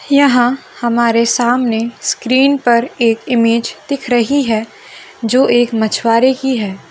यहां हमारे सामने स्क्रीन पर एक इमेज दिख रही है जो एक मछुआरे की है।